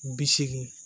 Bi seegin